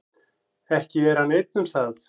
Ekki er hann einn um það.